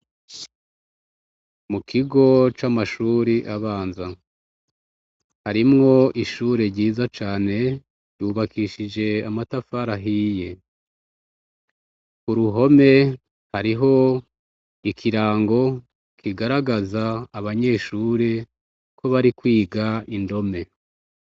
Mukigo c’amashure abanza, arimwo ishure ryiza cane yubakishije amatafari ahiye, uruhome hariho ikirango kigaragaza abanyeshure ko bari kwiga indome.